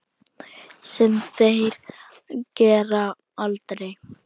Sem þeir gera aldrei!